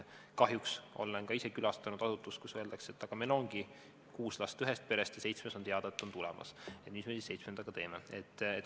Kahjuks olen ka ise külastanud asutust, kus öeldakse, et aga meil ongi kuus last ühest perest ja on teada, et seitsmes on tulemas, et mis me siis seitsmendaga teeme.